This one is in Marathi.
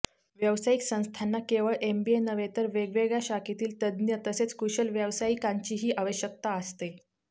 व्यावसायिक संस्थांना केवळ एमबीए नव्हे तर वेगवेगळ्या शाखेतील तज्ज्ञ तसेच कुशल व्यावसायिकांचीही आवश्यकता असते